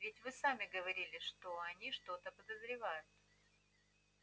ведь вы сами говорили они что-то подозревают